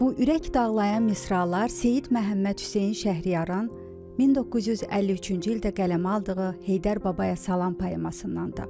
Bu ürək dağlayan misralar Seyid Məhəmməd Hüseyn Şəhriyarın 1953-cü ildə qələmə aldığı Heydər Babaya salam poemasındandır.